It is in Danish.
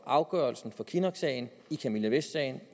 afgørelsen fra kinnocksagen i camilla vest sagen